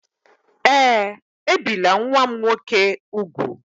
Ee, ebìla nwa m nwoke úgwù.